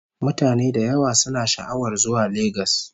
Mutane da yawa suna sha'awar zuwa Legas